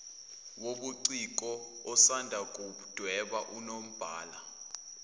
wobuciko osandakuwudweba unombala